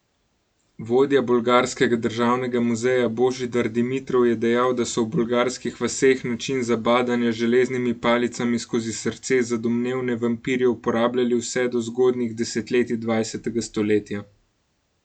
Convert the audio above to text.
Vodja bolgarskega državnega muzeja Božidar Dimitrov je dejal, da so v bolgarskih vaseh način zabadanja z železnimi palicami skozi srce za domnevne vampirje uporabljali vse do zgodnjih desetletij dvajsetega stoletja.